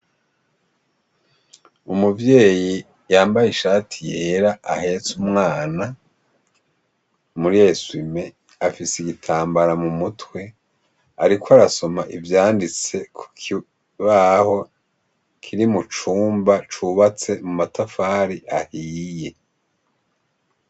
Umuvyeyi yambaye ishati yera ahetse umwana muri eswime afise igitambara mumutwe. Ariko arasoma ivyanditse kukibaho kiri mucumba cubatse mumatafari ahiye.